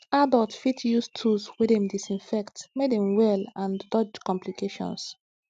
adults fit use tools wey dem disinfect make dem well and dodge complications